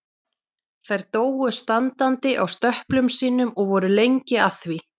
Þær dóu standandi á stöplum sínum og voru lengi að því.